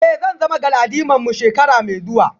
Eh zan zama galadimarmu shekara mai zuwa